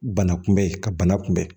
Bana kunbɛn ka bana kunbɛn